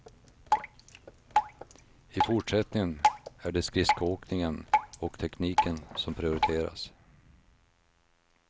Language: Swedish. I fortsättningen är det skridskoåkningen och tekniken som prioriteras.